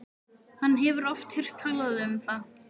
Hann hefur oft heyrt talað um það.